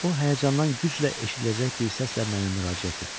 O həyəcandan güclə eşidiləcək bir səslə mənə müraciət etdi.